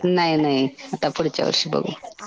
नाही नाही. आता पुढच्या वर्षी बघू.